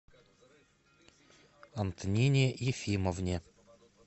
антонине ефимовне